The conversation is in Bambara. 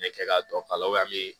N bɛ kɛ ka dɔ kala me